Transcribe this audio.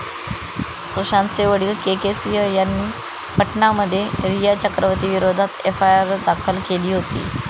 सुशांतचे वडिल के. के. सिंह यांनी पाटणामध्ये रिया चक्रवर्ती विरोधात एफआयआर दाखल केली होती.